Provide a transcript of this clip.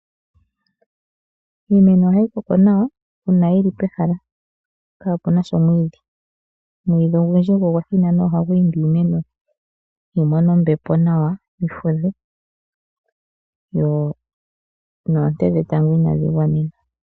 Iimeno ohayi koko nawa, uuna yili pehala kaapunasha omwiidhi. Omwiidhi ogundji gwo ogwa thinana ohagu imbi iimeno yimone ombepo nawa, yi fudhe, noonte dhetango inaadhi gwana.